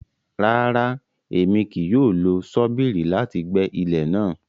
Rara, Èmí kìí yóò lo ṣobírì láti gbẹ ilẹ náà